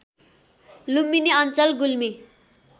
लुम्बिनी अञ्चल गुल्मी